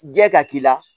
Jɛn ka k'i la